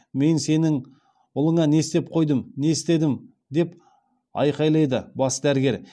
мен сенің ұлыңа не істеп қойдым не істедім деп айқайлады бас дәрігер